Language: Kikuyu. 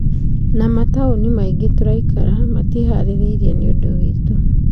Na mataúni maingĩ turaikara matiĩharĩrĩirie nĩũndũ witũ.